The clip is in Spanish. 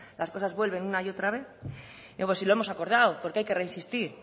las cosas vuelven una y otra vez si lo hemos acordado porque hay que reinsistir